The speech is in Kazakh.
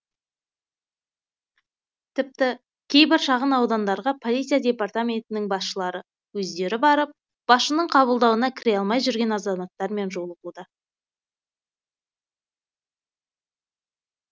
тіпті кейбір шағын аудандарға полиция департаментінің басшылары өздері барып басшының қабылдауына кіре алмай жүрген азаматтармен жолығуда